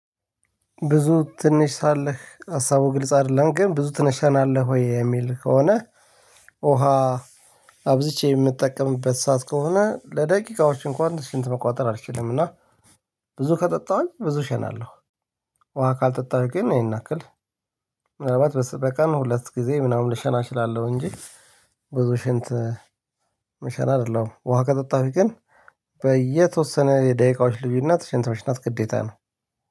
ብዙ ትንሽ ሳለህ ሀሳቡ ግልጽ አይደለም ግን ብዙ ትነሻናለህ ወይ? የሚል ከሆነ ውሃ አብዝቼ የምጠቀምበት ሰዓት ከሆነ ለደቂቃዎች እንኳን ሽንት መቆጣጠር አልችልም። እና ብዙ ከጠጣሁኝ ብዙ ሸናለሁ። ውሃ ካልጠጣሁኝ ግን እሄንያክል ምናልባት በቀን ሁለት ጊዜ ምናምን ልሸና እችላለሁ፤ እንጂ ብዙ ሽንት የሜሸና አይደለውም ውሃ ከጠጣውኝ ግን በየተወሰነ የደቂቃዎች ልዩነት ሽንት መሽናት ግዴታ ነው።